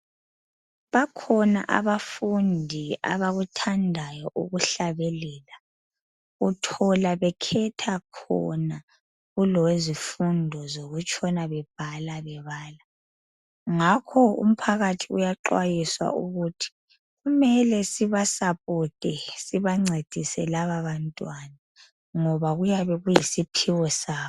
Bakhona abafundi abakuthandayo ukuhlabelela uthola bekhetha khona kulokwezifundo zokutshona bebhala bebala ngakho umphakathi uyanxwayiswa ukuthi kumele sibasapote sibancedise lababantwana ngob akuyabe kuyisiphiwo sabo